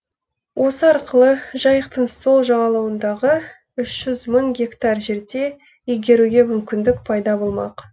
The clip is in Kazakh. осы арқылы жайықтың сол жағалауындағы үш жүз мың гектар жерде игеруге мүмкіндік пайда болмақ